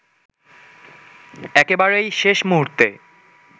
একেবারেই শেষ মুহূর্তে